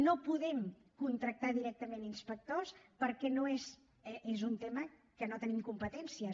no podem contractar directament inspectors perquè és un tema que no hi tenim competències